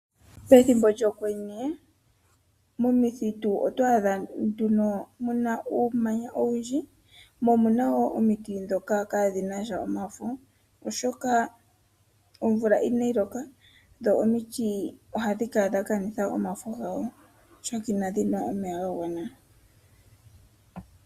Pethimbo lyokwenye, momithitu oto adha ko mu na nduno uumanya mo omu na wo omiti dhoka kaa dhi na sha omafo. oshoka omvula ina yi loka, dho omiti oha dhi kala dha kanitha omafo gawo, oshoka ina dhi nwa omeya ga gwana.